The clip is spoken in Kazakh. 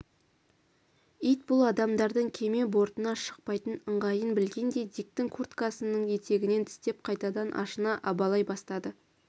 ит бұл адамдардың кеме бортына шықпайтын ыңғайын білгендей диктің курткасының етегінен тістеп қайтадан ашына абалай бастады